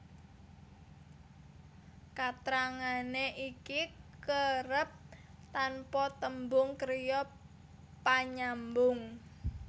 Katrangané iki kerep tanpa tembung kriya panyambung